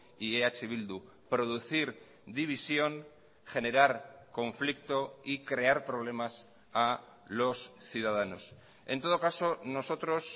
y eh bildu producir división generar conflicto y crear problemas a los ciudadanos en todo caso nosotros